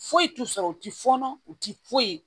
Foyi t'u sɔrɔ u ti fɔɔnɔ u ti foyi